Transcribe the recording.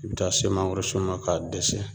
I bi taa se mangoro sun ma k'a dɛsɛ